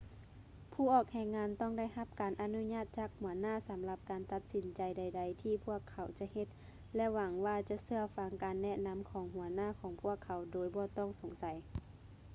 ຜູ້ອອກແຮງງານຕ້ອງໄດ້ຮັບການອະນຸມັດຈາກຫົວໜ້າສຳລັບການຕັດສິນໃຈໃດໆທີ່ພວກເຂົາຈະເຮັດ ແລະ ຫວັງວ່າຈະເຊື່ອຟັງການແນະນໍາຂອງຫົວໜ້າຂອງພວກເຂົາໂດຍບໍ່ຕ້ອງສົງໃສ